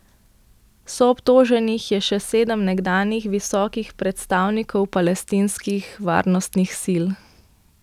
Soobtoženih je še sedem nekdanjih visokih predstavnikov palestinskih varnostnih sil.